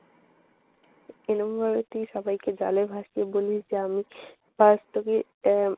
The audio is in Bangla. এরকমভাবে তুই সবাইকে ভালোবাসতিস বলেই তো আমি আজ তোকে আহ